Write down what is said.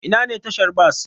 Ina ne tashar bas?